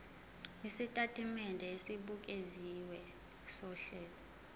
isitatimende esibukeziwe sohlelo